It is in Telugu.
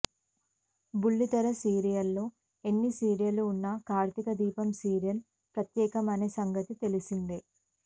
బుల్లితెర సీరియళ్లలో ఎన్ని సీరియళ్లు ఉన్నా కార్తీకదీపం సీరియల్ ప్రత్యేకమనే సంగతి తెలిసిందే